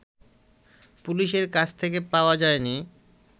পুলিশের কাছ থেকে পাওয়া যায়নি